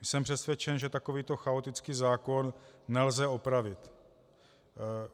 Jsem přesvědčen, že takovýto chaotický zákon nelze opravit.